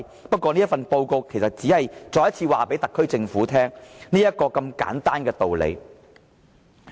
不過這份報告其實只是再次告訴特區政府這個如此簡單的道理。